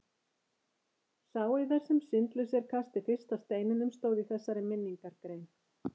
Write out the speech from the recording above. Sá yðar sem syndlaus er kasti fyrsta steininum, stóð í þessari minningargrein.